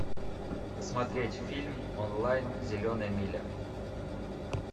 посмотреть фильм онлайн зеленая миля